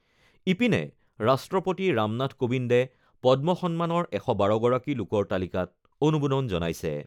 ইপিনে, ৰাষ্ট্ৰপতি ৰামনাথ কোবিন্দে পদ্ম সন্মানৰ ১১২গৰাকী লোকৰ তালিকাত অনুমোদন জনাইছে।